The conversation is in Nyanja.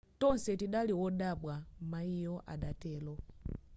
tonse tidali wodabwa mayiyo adatero